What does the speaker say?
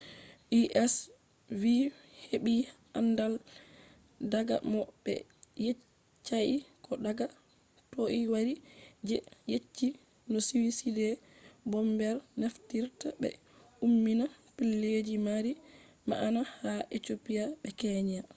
u.s. vi heɓi andal daga mo ɓe yeccai ko daga toi wari je yecci no suicide bombers naftirta ɓe ummina pellelji mari ma’ana ” ha ethiopia be kenya